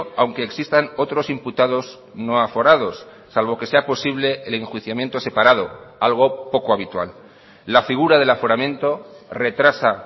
aunque existan otros imputados no aforados salvo que sea posible el enjuiciamiento separado algo poco habitual la figura del aforamiento retrasa